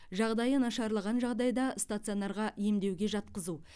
жағдайы нашарлаған жағдайда стационарға емдеуге жатқызу